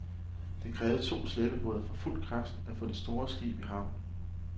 Det krævede to slæbebåde for fuld kraft at få det store skib i havn.